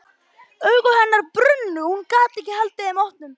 Augu hennar brunnu og hún gat ekki haldið þeim opnum.